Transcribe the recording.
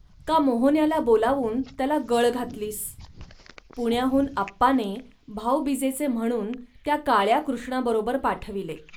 का मोहन्याला बोलावून त्याला गळ घातलीस. पुण्याहून आप्पाने भाऊबीजेचे म्हणून त्या काळ्या कृष्णाबरोबर पाठविले